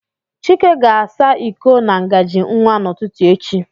Chike ga-asa iko na ngajị nwa n'ụtụtụ echi